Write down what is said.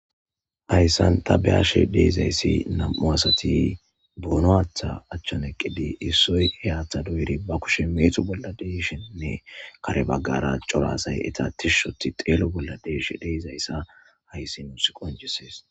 hayssan ta beyashe de'izayssi nam7u asati boono haaththa achchan eqqidi issoy he haatha doyiri ba kushe meeco bolla de'ishenne kare baggara cora asay eta tishshi ooththi xeelo bolla de'ishe de'izayssa hayssi nuus qoncisses.